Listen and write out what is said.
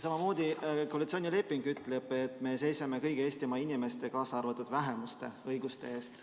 Samamoodi ütleb koalitsioonileping, et me seisame kõigi Eestimaa inimeste, kaasa arvatud vähemuste õiguste eest.